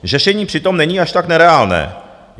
Řešení přitom není až tak nereálné.